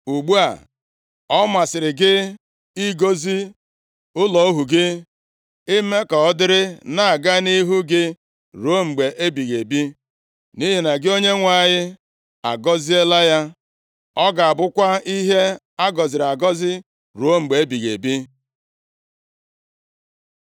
Ugbu a, ọ masịrị gị ịgọzi ụlọ ohu gị, ime ka ọ dịrị na-aga nʼihu gị ruo mgbe ebighị ebi, nʼihi na gị Onyenwe anyị, agọziela ya. Ọ ga-abụkwa ihe a gọziri agọzi ruo mgbe ebighị ebi.”